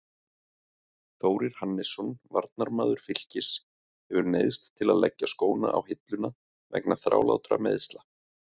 Þórir Hannesson, varnarmaður Fylkis, hefur neyðst til að leggja skóna á hilluna vegna þrálátra meiðsla.